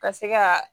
Ka se ka